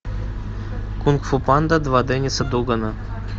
кунг фу панда два денниса дугана